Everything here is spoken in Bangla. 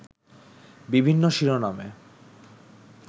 বিভিন্ন শিরোনামে